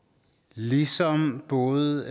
ligesom både